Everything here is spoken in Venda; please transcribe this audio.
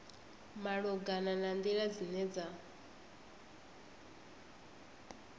malugana na nḓila dzine dza